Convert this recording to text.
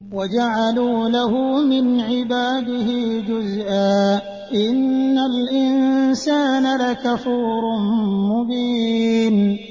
وَجَعَلُوا لَهُ مِنْ عِبَادِهِ جُزْءًا ۚ إِنَّ الْإِنسَانَ لَكَفُورٌ مُّبِينٌ